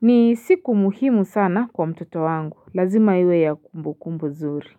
ni siku muhimu sana kwa mtoto wangu lazima iwe ya kumbu kumbu zuri.